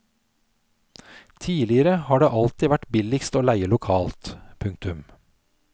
Tidligere har det alltid vært billigst å leie lokalt. punktum